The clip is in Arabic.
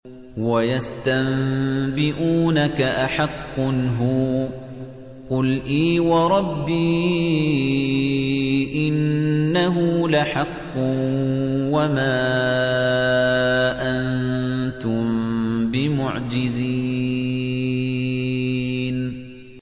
۞ وَيَسْتَنبِئُونَكَ أَحَقٌّ هُوَ ۖ قُلْ إِي وَرَبِّي إِنَّهُ لَحَقٌّ ۖ وَمَا أَنتُم بِمُعْجِزِينَ